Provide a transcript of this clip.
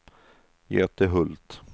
Göte Hult